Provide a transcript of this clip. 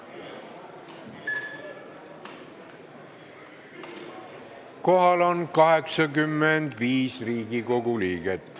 Kohaloleku kontroll Kohal on 85 Riigikogu liiget.